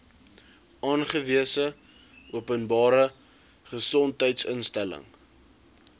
aangewese openbare gesondheidsinstelling